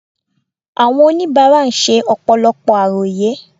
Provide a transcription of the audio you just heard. Àwọn oníbàárà ṣe ọ̀pọ̀lọpọ̀ àròyé